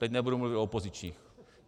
Teď nebudu mluvit o opozičních.